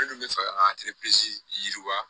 Minnu bɛ fɛ ka yiriwa